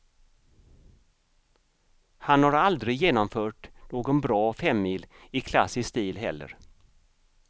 Han har aldrig genomfört någon bra femmil i klassisk stil heller.